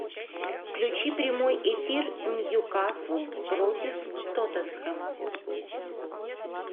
включи прямой эфир ньюкасл против тоттенхэма